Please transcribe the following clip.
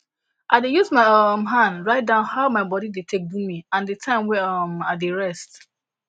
i dey use my um hand write down how my body dey take do me and the time wey um i dey rest